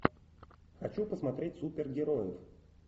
хочу посмотреть супергероев